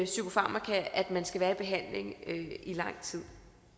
psykofarmaka at man skal i lang tid